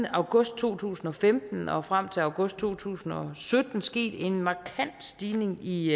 august to tusind og femten og frem til august to tusind og sytten sket en markant stigning i